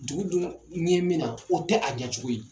Dugu dun ɲɛ min na o tɛ a ɲɛcogo ye.